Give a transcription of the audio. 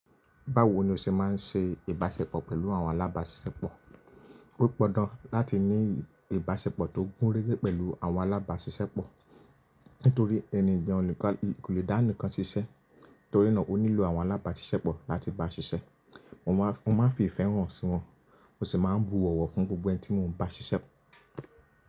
Báwo ni o ṣe máa ń ṣe ìbáṣepọ̀ pẹ̀lú àwọn alábáṣiṣẹ́pọ̀? Ó pọndan láti ní ìbáṣepọ̀ tó gúnrégé pẹ̀lú àwọn alábáṣiṣẹ́pọ̀, nítorí ẹni ń jẹun ò le dá nìkan ṣiṣẹ́, torí náà o nílò àwọn alábáṣiṣẹ́pọ̀ láti bá ṣiṣẹ́. Mo máa fi ìfẹ́ hàn sí wọn, mó sì máa bu ọ̀wọ̀ fún gbogbo ẹni tí mò ń bá ṣiṣẹ́.